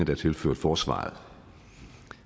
er tilført forsvaret